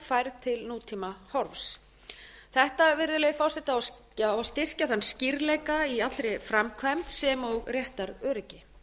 og eignarnámsframkvæmd færð til nútímahorfs þetta virðulegi forseti á að styrkja þann skýrleika í allri framkvæmd sem og réttaröryggi